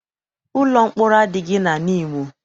Ụlọ mkpọrọ adịghị na Nimo.